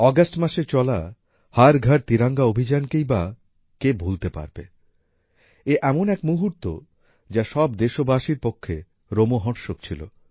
August মাসে চলা হর ঘর তিরঙ্গা অভিযান কেই বা ভুলতে পারবে এ এমন এক মুহূর্ত যা সব দেশবাসীর পক্ষে রোমহর্ষক ছিল